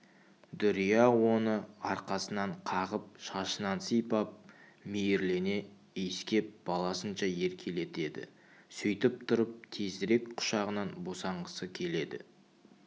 дүрия оны арқасынан қағып шашынан сипап мейірлене иіскеп баласынша еркелетеді сөйтіп тұрып тезірек құшағынан босанғысы келеді